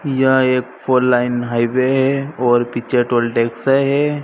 यह एक four lane highway है और पीछे टोल टैक्स है।